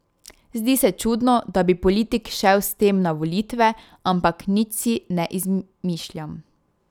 Zdi se čudno, da bi politik šel s tem na volitve, ampak nič si ne izmišljam.